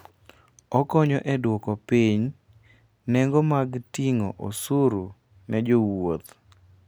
Okonyo e duoko piny nengo mag ting'o osuru ne jowuoth.